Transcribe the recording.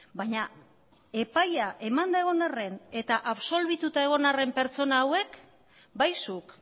baina epaia emanda egon arren eta absolbituta egon arren pertsona hauek bai zuk